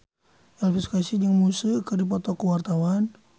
Elvy Sukaesih jeung Muse keur dipoto ku wartawan